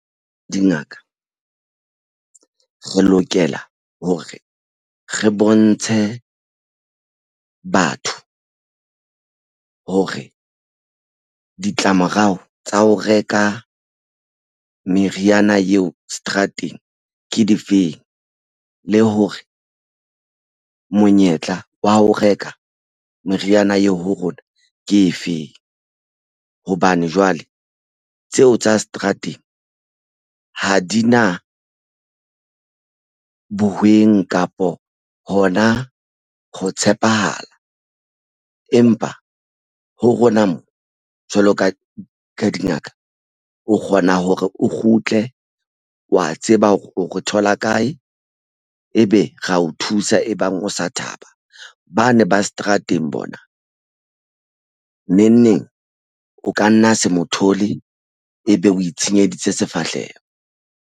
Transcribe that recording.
Dingaka re lokela hore re bontshe batho hore ditlamorao tsa ho reka meriana eo seterateng ke difeng le hore monyetla wa ho reka meriana eo ho rona ke efeng hobane jwale tseo tsa seterateng ha di na bohweng kapo hona ho tshepahala empa ho rona mo jwalo ka dingaka o kgona hore o kgutle wa tseba hore o re thola kae ebe ra o thusa. Ebang o sa thaba ba ne ba seterateng bona neng neng o ka nna se mo thole ebe o itshenyeditse sefahleho.